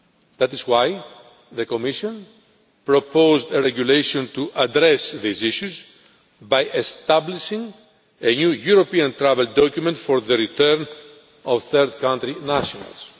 That is why the Commission proposed a regulation to address these issues by establishing a new European travel document for the return of third country nationals.